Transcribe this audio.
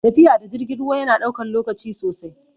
Tafiya da jirgin ruwa yana ɗaukan lokaci sosai